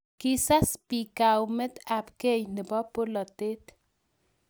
Kisas biik kaumet ab gei nebo polatet